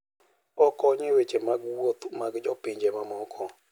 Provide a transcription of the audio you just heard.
Okonyo e weche mag wuoth mag jo pinje mamoko.